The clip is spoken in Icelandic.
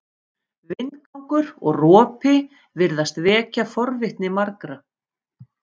Vindgangur og ropi virðast vekja forvitni margra.